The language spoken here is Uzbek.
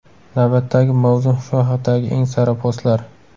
Navbatdagi mavzu shu haqdagi eng sara postlar.